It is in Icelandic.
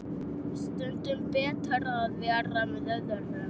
Stundum betra en að vera með öðrum.